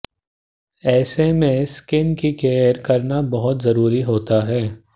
ऐसे में स्किन की केयर करना बहुत जरुरी होता है